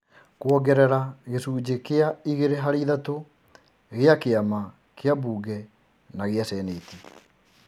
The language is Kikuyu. Kuongerera gĩcunjĩ kĩa igĩrĩ harĩ ithatũ gĩa kĩama kĩa mbunge na gĩa seneti,